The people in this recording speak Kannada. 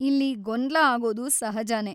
ಇಲ್ಲಿ ಗೊಂದ್ಲ ಆಗೋದು ಸಹಜನೇ.